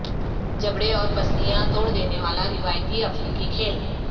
جبڑے اور پسلیاں توڑ دینے والا روایتی افریقی کھیل